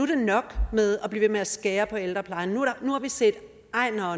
det nok med at blive ved med at skære på ældreplejen nu har vi set